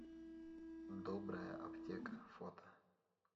добрая аптека фото